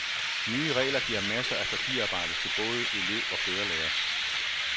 Nye regler giver masser af papirarbejde til både elev og kørelærer.